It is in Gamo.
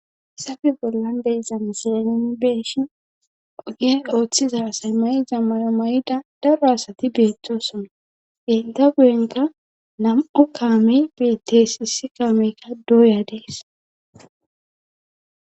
Hayisafe bollan de'iza misile nuni be'eshin ogiyen ooththiza asay mayiza mayo mayda daro asati beettosona hegga guyenka nam'u kaamey beettees issi kaameykka dooya dees